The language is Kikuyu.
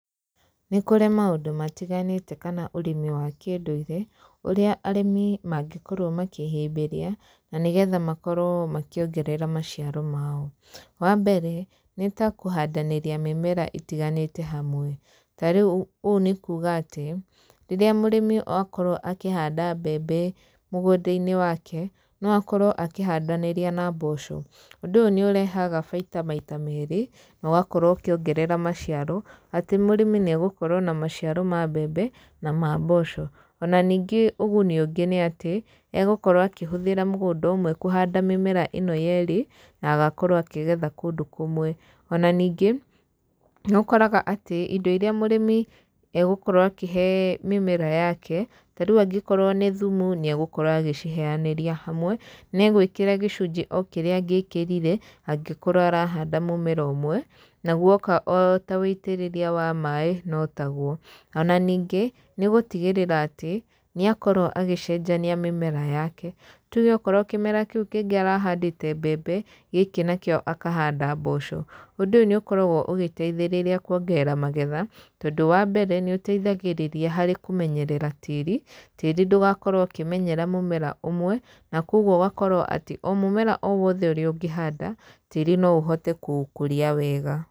Nĩ kũrĩ maũndũ matiganĩte kana ũrĩmi wa kĩndũire, ũrĩa arĩmi mangĩkorwo makĩhĩmbĩria, na nĩgetha makorwo makĩongerera maciaro mao. Wa mbere, nĩ ta kũndanĩria mĩmera ĩtiganĩte hamwe. Ta rĩu ũũ nĩ kuuga atĩ, rĩrĩa mũrĩmi akorwo akĩhanda mbembe mũgũnda-inĩ wake, no akorwo akĩhandanĩria na mboco. Ũndũ ũyũ nĩ ũrehaga baita maite meerĩ, na ũgakorwo ũkĩongerera maciaro. Atĩ mũrĩmi nĩ egũkorwo na maciaro ma mbembe, na ma mboco. Ona ningĩ ũguni ũngĩ nĩ atĩ, egũkorwo akĩhũthĩra mũgũnda ũmwe kũhanda mĩmera ĩno yeerĩ, na agakorwo akĩgetha kũndũ kũmwe. Ona ningĩ, nĩ ũkoraga atĩ indo irĩa mũrĩmi egũkorwo akĩhe mĩmera yake, ta rĩu angĩkorwo nĩ thumu nĩ egũkorwo agĩciheanĩria hamwe, na egũĩkĩra gĩcunjĩ o kĩrĩa angĩkĩrire, angĩkorwo arahanda mũmera ũmwe. Na gũoka o ta wĩitĩrĩria wa maaĩ, no ta guo. Ona ningĩ, nĩ gũtigĩrĩra atĩ, nĩ akorwo agĩcenjania mĩmera yake. Tuge okorwo kĩmera kĩu kĩngĩ arahandĩte mbembe, gĩkĩ nakĩo akahanda mboco. Ũndũ ũyũ nĩ ũkoragwo ũgĩteithĩrĩria kuongerera magetha, tondũ wa mbere nĩ ũteithagĩrĩria harĩ kũmenyerera tĩĩri. Tĩĩri ndũgakorwo ũkĩmenyera mũmera ũmwe. Na kũguo ũgakorwo atĩ, o mũmera o wothe ũrĩa ũngĩhanda, tĩĩri no ũhote kũũkũria wega.